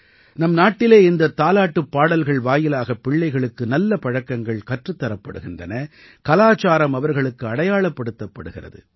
நம் நாட்டிலே இந்தத் தாலாட்டுப் பாடல்கள் வாயிலாகப் பிள்ளைகளுக்கு நல்ல பழக்கங்கள் கற்றுத் தரப்படுகின்றன கலாச்சாரம் அவர்களுக்கு அடையாளப்படுத்தப் படுகிறது